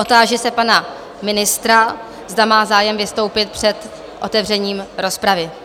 Otáži se pana ministra, zda má zájem vystoupit před otevřením rozpravy?